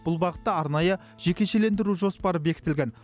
бұл бағытта арнайы жекешелендіру жоспары бекітілген